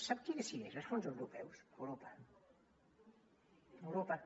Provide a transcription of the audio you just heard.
sap qui decideix els fons europeus europa europa